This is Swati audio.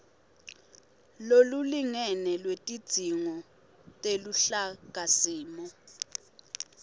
lolulingene lwetidzingo teluhlakasimo